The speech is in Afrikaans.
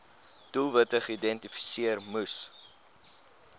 doelwitte geïdentifiseer moes